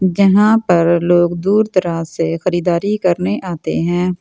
जहाँ पर लोग दूर तरह से खरीदारी करने आते है ।